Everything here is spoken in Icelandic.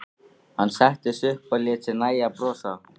Hann settist upp og lét sér nægja að brosa.